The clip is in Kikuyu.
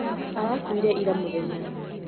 Arakuire ira mũthenya